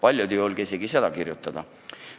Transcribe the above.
Paljud ei julge isegi seda kirjutada.